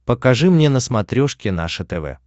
покажи мне на смотрешке наше тв